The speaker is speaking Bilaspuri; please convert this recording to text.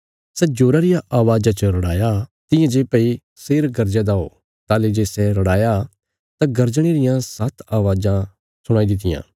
सै जोरा रिया अवाज़ा च रड़ाया तियां जे भई शेर गर्जया दा हो ताहली जे सै रड़ाया तां गर्जणे रियां सात्त आवाज़ां सुणाई दित्तियां